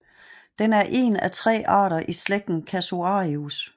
Den er en af tre arter i slægten Casuarius